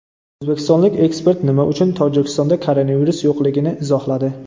O‘zbekistonlik ekspert nima uchun Tojikistonda koronavirus yo‘qligini izohladi.